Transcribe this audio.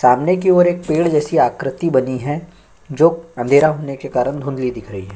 सामने की और एक पेड़ जैसी आकृति बनी है जो अँधेरा होने के कारण धुंधली दिख रही है।